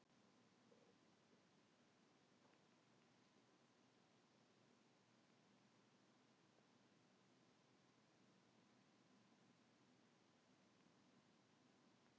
Það þýði minni sölu eldsneytis